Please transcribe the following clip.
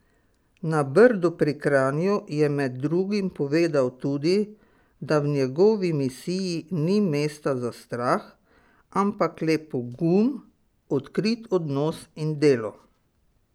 Na Brdu pri Kranju je med drugim povedal tudi, da v njegovi misiji ni mesta za strah, ampak le pogum, odkrit odnos in delo.